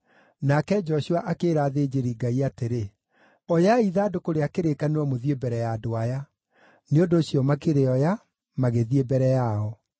Nake Joshua akĩĩra athĩnjĩri-Ngai atĩrĩ, “Oyai ithandũkũ rĩa kĩrĩkanĩro mũthiĩ mbere ya andũ aya.” Nĩ ũndũ ũcio makĩrĩoya, magĩthiĩ mbere yao.